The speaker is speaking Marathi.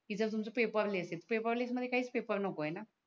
इथे तुमच पेपरलेस आहेत पेपरलेस मध्ये काहीच पेपर नको आहेणा